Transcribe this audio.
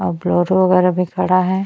और बोलेरो वैगेरा भी खड़ा है।